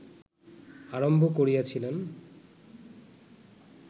আরম্ভ করিয়াছিলেন